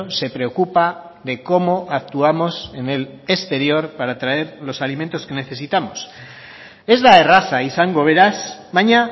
se preocupa de cómo actuamos en el exterior para traer los alimentos que necesitamos ez da erraza izango beraz baina